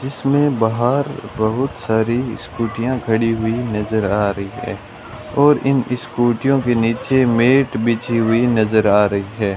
इसमें बाहर बहोत सारी स्कूटियां खड़ी हुई नज़र आ रही है और इन स्कूटियां के नीचे मैट बिछी हुई नज़र आ रही है।